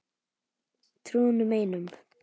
Trúði honum einum.